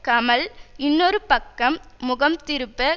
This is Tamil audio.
கமல் இன்னொரு பக்கம் முகம் திருப்ப